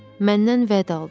Məndən vəd aldı.